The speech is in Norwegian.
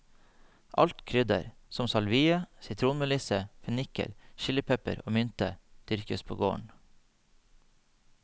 Alt krydder, som salvie, sitronmelisse, fenikkel, chilipepper og mynte, dyrkes på gården.